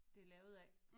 Det er lavet af